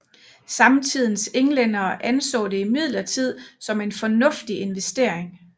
Samtidens englændere anså det imidlertid som en fornuftig investering